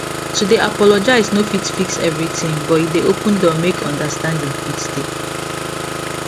to dey apologize no fit fix everything but e dey open door make understanding fit dey